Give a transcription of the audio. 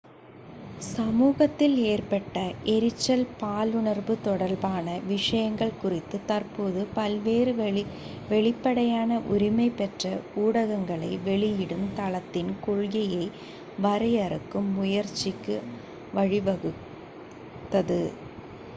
சமூகத்தில் ஏற்பட்ட எரிச்சல் பாலுணர்வு தொடர்பான விஷயங்கள் குறித்து தற்போது பல்வேறு வெளிப்படையான உரிமை பெற்ற ஊடகங்களை வெளியிடும் தளத்தின் கொள்கையை வரையறுக்கும் முயற்சிக்கு வழிவகுத்தது